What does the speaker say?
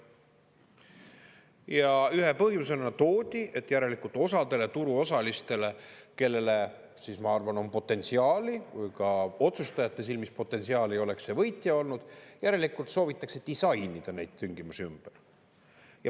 Ja ühe põhjusena toodi, et järelikult osale turuosalistele, kellele siis, ma arvan, on potentsiaali, ka otsustajate silmis potentsiaali, oleks see võitja olnud, järelikult soovitakse disainida neid tingimusi ümber.